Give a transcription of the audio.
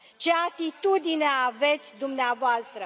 Ce atitudine aveți dumneavoastră?